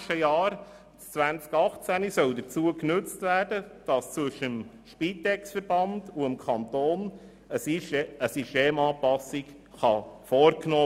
Das Jahr 2018 soll dazu genutzt werden, um zwischen dem Spitexverband und dem Kanton eine Systemanpassung vorzunehmen.